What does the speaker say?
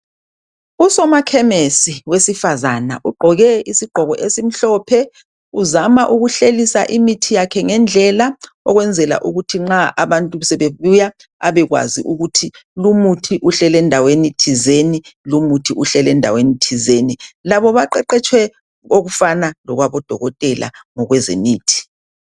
USoma Khemesi wesifazana, ugqoke isigqoko esimhlophe. Uzama ukuhlelisa imithi yakhe ngendlela. Okwenzela ukuthi nxa abantu sebebuya. Abekwazi ukuthi lu muthi uhleli endaweni thizeni lu muthi uhleli endaweni thizeni. Labo baqeqetshwe okufana lokwabo dokotela kwezemithi